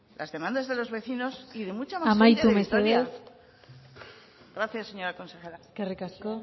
las demandas de los vecinos y de mucha más gente de vitoria amaitu mesedez gracias señora consejera eskerrik asko